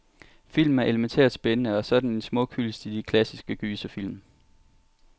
Filmen er elemæntært spændende, og så er den en smuk hyldest til de klassiske gyserfilm.